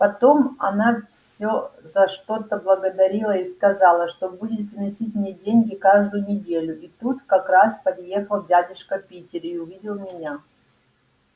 потом она все за что-то благодарила и сказала что будет приносить мне деньги каждую неделю и тут как раз подъехал дядюшка питер и увидел меня